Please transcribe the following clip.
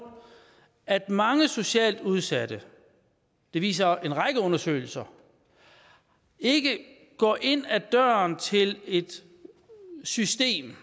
at mange socialt udsatte det viser en række undersøgelser ikke går ind ad døren til et system